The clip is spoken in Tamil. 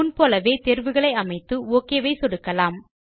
முன் போலவே தேர்வுகளை அமைத்து ஒக் இல் சொடுக்கலாம்